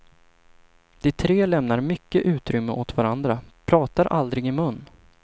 De tre lämnar mycket utrymme åt varandra, pratar aldrig i mun.